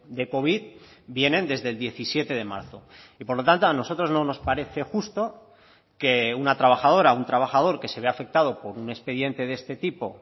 de covid vienen desde el diecisiete de marzo y por lo tanto a nosotros no nos parece justo que una trabajadora un trabajador que se ve afectado por un expediente de este tipo